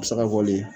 A bɛ se ka bɔ le